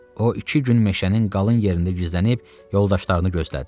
O iki gün meşənin qalın yerində gizlənib yoldaşlarını gözlədi.